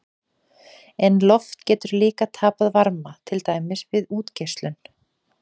En loft getur líka tapað varma, til dæmis við útgeislun.